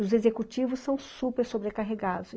Os executivos são super sobrecarregados.